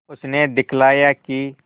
उसने दिखलाया कि